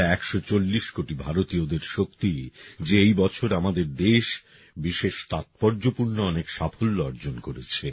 এটা একশো চল্লিশ কোটি ভারতীয়দের শক্তি যে এই বছর আমাদের দেশ বিশেষ তাৎপর্যপূর্ণ অনেক সাফল্য অর্জন করেছে